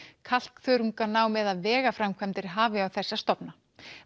kalkþörunganám eða vegaframkvæmdir hafi á þessa stofna